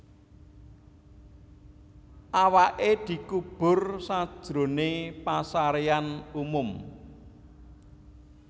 Awaké dikubur sajroné pasaréan umum